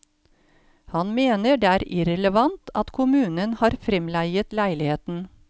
Han mener det er irrelevant at kommunen har fremleiet leiligheten.